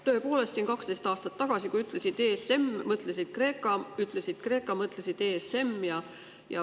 Tõepoolest, 12 aastat tagasi, kui ütlesid ESM, mõtlesid Kreeka, ütlesid Kreeka, mõtlesid ESM.